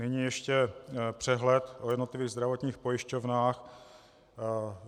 Nyní ještě přehled o jednotlivých zdravotních pojišťovnách.